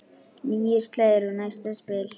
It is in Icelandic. Níu slagir og næsta spil.